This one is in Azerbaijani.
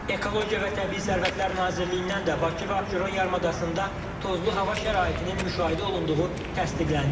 Ekologiya və Təbii Sərvətlər Nazirliyindən də Bakı və Abşeron yarımadasında tozlu hava şəraitinin müşahidə olunduğu təsdiqləndi.